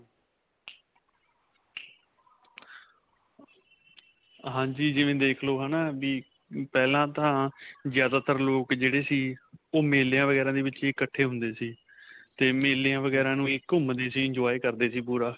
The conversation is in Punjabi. ਹਾਂਜੀ, ਜਿਵੇਂ ਦੇਖ ਲੋ, ਹੈ ਨਾ ਵੀ ਪਹਿਲਾ ਤਾਂ ਜਿਆਦਾ ਤਰ ਲੋਕ ਜਿਹੜੇ ਸੀ ਓਹ ਮੇਲਿਆਂ ਵਗੈਰਾਂ ਦੇ 'ਚ ਹੀ ਇੱਕਠੇ ਹੁੰਦੇ ਸੀ 'ਤੇ ਮੇਲਿਆਂ ਵਗੈਰਾਂ ਨੂੰ ਹੀ ਘੁਮਦੇ ਸੀ, enjoy ਕਰਦੇ ਸੀ ਪੂਰਾ.